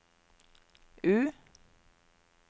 U